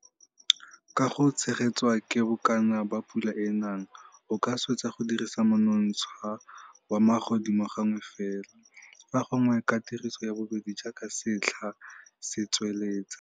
Ka go tshegetswa ke bokana ba pula e e nang, o ka swetsa go dirisa monontsha wa magodimogo gangwe fela, fa gongwe ka tiriso ya bobedi jaaka setlha se tswelela.